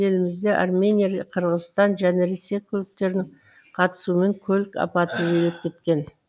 елімізде армения қырғызстан және ресей көліктерінің қатысуымен көлік апаты жиілеп кеткен